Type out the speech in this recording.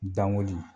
Dankoli